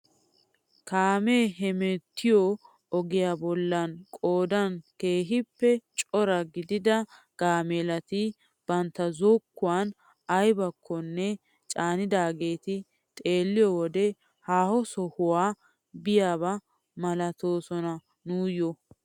Kaamee hemttiyoo ogiyaa bollan qoodan keehippe cora gidida gaamelati bantta zokkuwaan aybakkone caanidaageta xeelliyoo wode haaho sohuwaa biyaaba milatoosona nuyoo.